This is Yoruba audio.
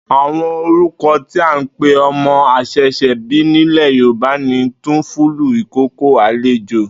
Àwo̩n orúko̩ tí à ń pe o̩mo̩ às̩è̩s̩è̩bí nílè̩ Yorùbá ni túnfúlù, ìkókó, àlejò